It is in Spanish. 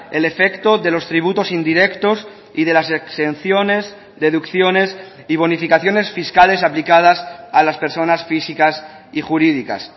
el efecto de los tributos indirectos y de las exenciones deducciones y bonificaciones fiscales aplicadas a las personas físicas y jurídicas